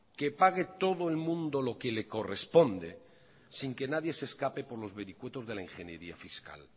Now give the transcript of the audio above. que pague todo el mundo lo que le corresponde sin que nadie se escape por los vericuetos de la ingeniería fiscal